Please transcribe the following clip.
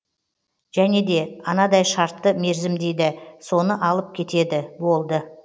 және де анадай шартты мерзім дейді соны алып кетеді болды